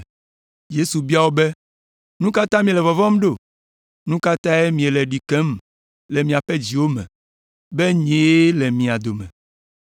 Yesu bia wo be, “Nu ka ta miele vɔvɔ̃m ɖo? Nu ka tae miele ɖi kem le miaƒe dziwo me, be nyee le mia dome?